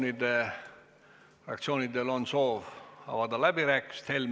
Kas fraktsioonidel on soovi pidada läbirääkimisi?